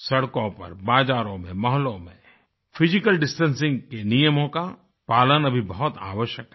सड़कों पर बाज़ारों में मोहल्लों में फिजिकल डिस्टेंसिंग के नियमों का पालन अभी बहुत आवश्यक है